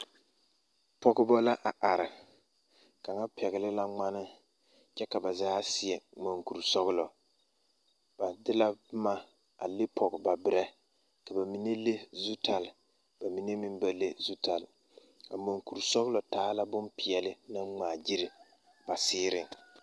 Pɔgeba la a are kaŋa pɛgle la ŋmane kyɛ ka ba zaa seɛ monkurisɔglɔ ba de la boma a le pɔge ba berɛ ka ba mine le zutale ba mine meŋ ba le zutale a monkurisɔglɔ taa la bompeɛle naŋ ŋmaagyili ba seereŋ.